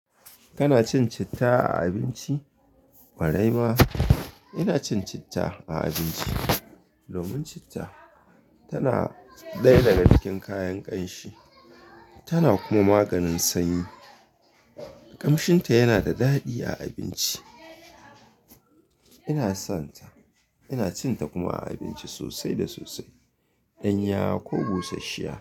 Kana cin citta a abinci? Kwarai ma ina cin citta a abinci. Domin citta tana dayq cikin kayan ƙanshi, tana kuma maganin sanyi. Kamshinta yana da daɗi a abinci. Ina son ta, ina cin ta kuma a abinci sosai da sosai, ɗanyawa ko bushashshiya.